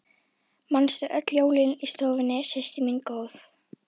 Manstu öll jólin í stofunni systir mín góð.